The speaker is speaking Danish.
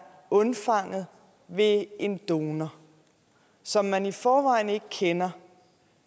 undfanget ved en donor som man i forvejen ikke kender